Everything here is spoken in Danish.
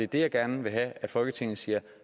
der jeg gerne vil have at folketinget siger